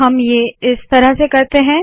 तो हम ये इस तरह से करते है